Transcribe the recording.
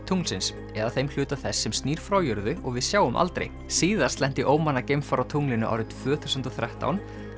tunglsins eða þeim hluta þess sem snýr frá jörðu og við sjáum aldrei síðast lenti geimfar á tunglinu árið tvö þúsund og þrettán